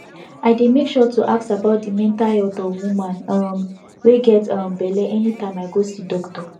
i dey make sure to ask about de mental health of woman um wey get um belle anytime i go see doctor